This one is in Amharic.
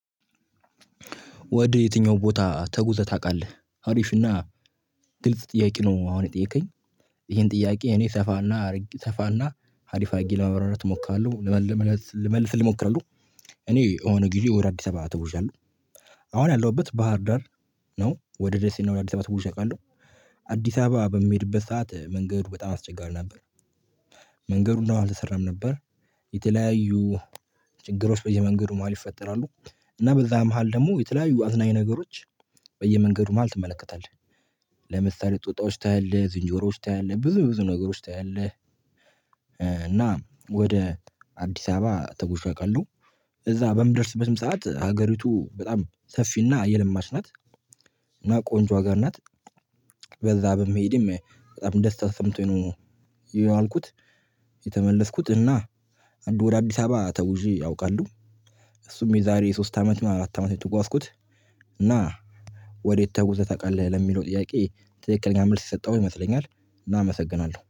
ወደ የትኛው ቦታ ተጉዘህ ታውቃለህ አሪፍና ግልጽ ጥያቄ ነው? አሁን የጠየከኝ ይህን ጥያቄ እኔ ሰፋና ሰፋና አሪፍ አድርጌ ለማብራራት እሞክራለሁ ልመልስ ልሞክር ነው። እኔ የሆነ ጊዜ ወደ አዲስ አበባ ተጉዣለሁ አሁን ያለሁበት ባህር ዳር ነው። ወደ ደሴና ወደ አዲስ አበባ ተጉዤ አውቃለሁ። አዲስ አበባ በምሄድበት ሰዓት መንገዱ በጣም አስቸጋሪ ነበር። መንገዱ እንደውም አልተሰራም ነበር። የተለያዩ ችግሮች በየመንገዱ መሃል ይፈጠራሉ። እና በዛ መሃል ደግሞ የተለያዩ አዝናኝ ነገሮች በየመንገዱ መሃል ትመለከታለህ። ለምሳሌ ጦጣዎች ታያለህ ዝንጀሮዎች ታያለህ ብዙ ብዙ ነገሮች ታያለህ። እና ወደ አዲስ አበባ ተጉዤ አውቃለው እዛ በምደርስበትም ሰዓት ሀገሪቱ በጣም ሰፊና የለማች ናት። እና ቆንጆ ሀገር ናት። በዛ በመሄዴም በጣም ደስታ ተሰምቶኝ ነው። የዋልኩት። የተመለስኩት እና አንዱ ወደ አዲስ አበባ ተጉዤ አውቃለሁ። እሱም የዛሬ ሶስት አመት አራት አመት የተጓዝኩት። እና ወዴት ተጉዘህ ታውቃለህ? ለሚለው ጥያቄ ትክክለኛ መልስ የሰጠሁኝ ይመስለኛል። እመሰግናለሁ